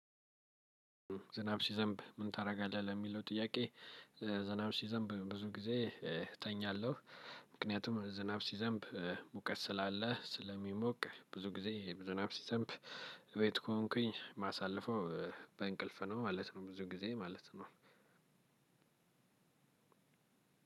ዝናብ ሲዘንብ ምን ታደርጋለህ ለሚለው ጥያቄ? ዝናብ ሲዘንብ ብዙ ጊዜ እተኛለሁ። ምክንያቱም ዝናብ ሲዘንብ ሙቀት ስላለ ስለሚሞቅ ብዙ ጊዜ ዝናብ ሲዘንብ። ቤት ከሆንኩኝ ማሳለፈው በእንቅልፍ ነው ማለት ነው። ብዙ ጊዜ ማለት ነው።